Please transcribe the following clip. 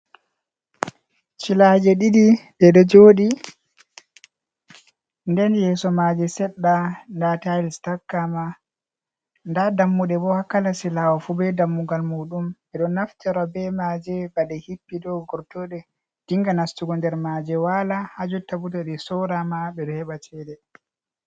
Cilaaje ɗiɗi ɗe ɗo jooɗi, nden yeeso maaje seɗɗa, ndaa tayis takkaama. Ndaa dammuɗe bo, haa kala silaawo fu, be dammugal muuɗum, ɓe ɗon naftiro be maaje, ba ɗe hippi ɗo, gortooɗe dinga nastugo nder maaje waala, haa jotta bo to ɗe sooraama, ɓe ɗo heɓa ceede.